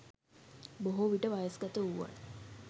බොහෝ විට වයස් ගත වූවන්